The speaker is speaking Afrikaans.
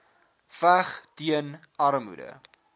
veg teen armoede